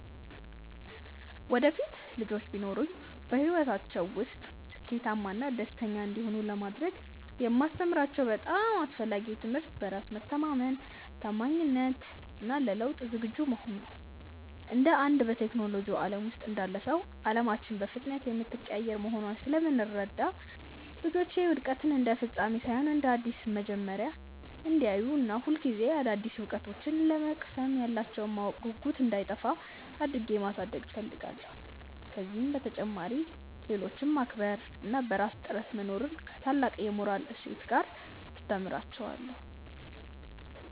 ወደፊት ልጆች ቢኖሩኝ፣ በሕይወታቸው ውስጥ ስኬታማና ደስተኛ እንዲሆኑ ለማድረግ የማስተምራቸው በጣም አስፈላጊው ትምህርት በራስ መተማመንን፣ ታማኝነትን እና ለለውጥ ዝግጁ መሆንን ነው። እንደ አንድ በቴክኖሎጂው ዓለም ውስጥ እንዳለ ሰው፣ ዓለማችን በፍጥነት የምትቀያየር መሆኗን ስለምረዳ፣ ልጆቼ ውድቀትን እንደ ፍጻሜ ሳይሆን እንደ አዲስ መማሪያ እንዲያዩት እና ሁልጊዜ አዳዲስ እውቀቶችን ለመቅሰም ያላቸው የማወቅ ጉጉት እንዳይጠፋ አድርጌ ማሳደግ እፈልጋለሁ። ከዚህ በተጨማሪ፣ ሌሎችን ማክበር እና በራስ ጥረት መኖርን ከታላቅ የሞራል እሴት ጋር አስተምራቸዋለሁ።